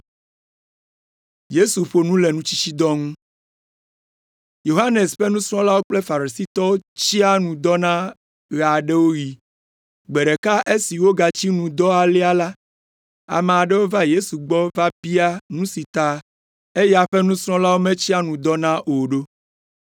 Yohanes ƒe nusrɔ̃lawo kple Farisitɔwo tsia nu dɔna ɣe aɖewo ɣi. Gbe ɖeka esi wogatsi nu dɔ alea la, ame aɖewo va Yesu gbɔ va bia nu si ta eya ƒe nusrɔ̃lawo metsia nu dɔna o ɖo.